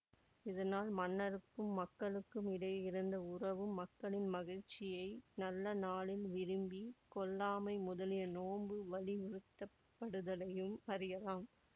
இதனால் மன்னருக்கும் மக்களுக்கும் இடையே இருந்த உறவும் மக்களின் மகிழ்ச்சியை நல்ல நாளில் விரும்பி கொல்லாமை முதலிய நோன்பு வலியுறுத்தப்ப்டுதலையும் அறியலாம்